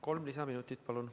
Kolm lisaminutit, palun.